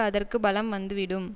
அதற்கு பலம் வந்து விடும்